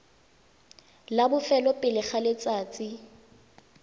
la bofelo pele ga letsatsi